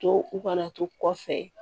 To u kana to kɔfɛ